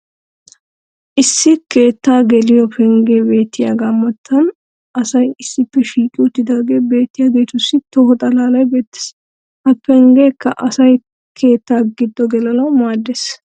issi keettaa geliyo pengee beettiyaaga matan asay issippe shiiqqi uttidaagee beettiyaageetussi toho xalaalay beettees. ha penggeekka asay keettaa giddo gelanawu maaddees.